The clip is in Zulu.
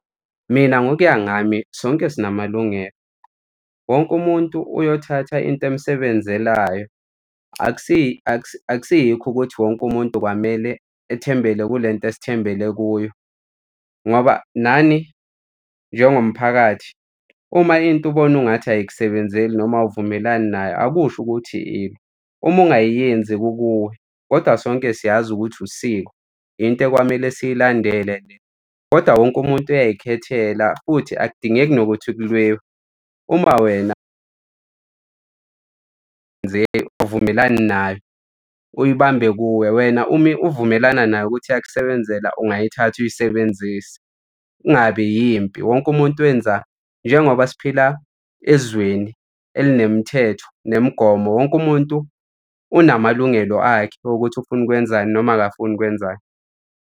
Mina ngokuya ngami, sonke sinamalungelo. Wonke umuntu uyothatha into emsebenzelayo. Akusiyikho ukuthi wonke umuntu kwamele ethembele kule nto esithembele kuyo ngoba nani njengomphakathi uma into ubone ungathi ayikusebenzeli noma uwuvumelani nayo akusho ukuthi ilwa. Uma ungayenzi kukuwe, kodwa sonke siyazi ukuthi usiko into ekwamele siyilandele leyo. Kodwa wonke umuntu uyay'khethela futhi akudingeki nokuthi kulwiwe. Uma wena awuvumelani nayo uyibambe kuwe wena uma uvumelana nayo ukuthi iyakusebenzela, ungayithatha uyisebenzise kungabi yimpi. Wonke umuntu wenza, njengoba siphila ezweni elinemithetho nemigomo wonke umuntu unamalungelo akhe wokuthi ufuna ukwenzani noma akafuni ukwenzani.